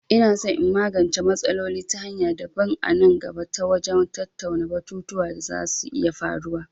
Ina son in magance matsalol ta hanya daban a nan gaba ta wajen tattauna batutuwa da za su iya faruwa.